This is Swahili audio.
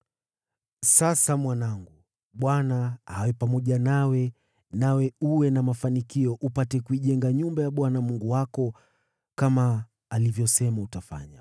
“Sasa, mwanangu, Bwana awe pamoja nawe, nawe uwe na mafanikio upate kuijenga nyumba ya Bwana Mungu wako, kama alivyosema utafanya.